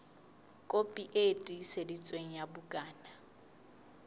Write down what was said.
kopi e tiiseditsweng ya bukana